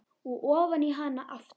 Og ofan í hana aftur.